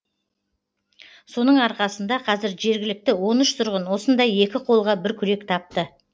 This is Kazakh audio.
соның арқасында қазір жергілікті он үш тұрғын осында екі қолға бір күрек тапты